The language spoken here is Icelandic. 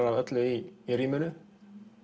af öllu í rýminu